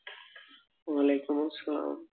ওয়ালাইকুমুস সালাম